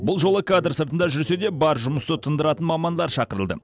бұл жолы кадр сыртында жүрсе де бар жұмысты тындыратын мамандар шақырылды